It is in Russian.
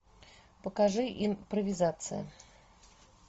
покажи импровизация